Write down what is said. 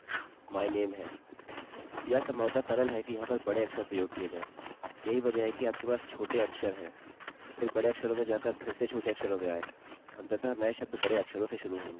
यह संभवतः सरल है कि यहाँ पर बड़े अक्षर प्रयोग किये जाएँ यही वजह है कि आपके पास छोटे अक्षरलोअर केस है फिर बड़े अक्षरों में जाकर फिर से छोटे अक्षरों में आएँ अंततः नये शब्द बड़े अक्षरों से शुरू होंगे